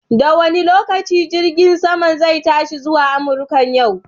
Da wane lokaci jirgin saman zai tashi zuwa Amurka a yau?